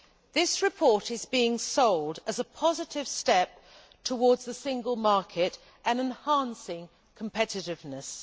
This report is being sold as a positive step towards the single market and as enhancing competitiveness.